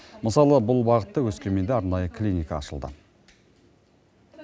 мысалы бұл бағытта өскеменде арнайы клиника ашылды